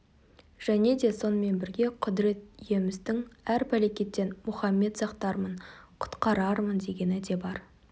және де сонымен бірге құдірет иеміздің әр пәлекеттен мұхаммет сақтармын құтқарармын дегені де бар